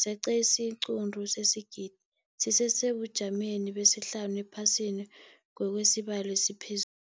zeqe isiquntu sesigidi, sisesebujameni besihlanu ephasini ngokwesibalo esiphez